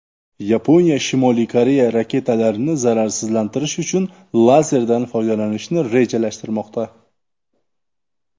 Yaponiya Shimoliy Koreya raketalarini zararsizlantirish uchun lazerdan foydalanishni rejalashtirmoqda.